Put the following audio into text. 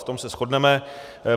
V tom se shodneme.